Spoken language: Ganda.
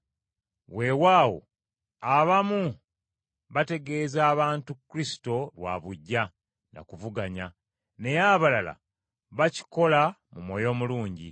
Weewaawo abamu bategeeza abantu Kristo lwa buggya na kuvuganya, naye abalala bakikola mu mwoyo mulungi.